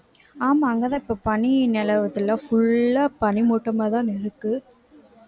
ஆமா அங்கதான் இப்ப பனி நிலவதுல full ஆ பனிமூட்டமாதான இருக்கு